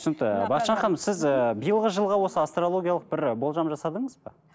түсінікті бақытжан ханым сіз ыыы биылғы жылғы осы астрологиялық бір болжам жасадыңыз ба